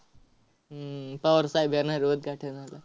हम्म पवार साहेब येणार आहेत उद्घाटनाला.